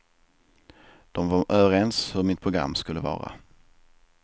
De var överens hur mitt program skulle vara.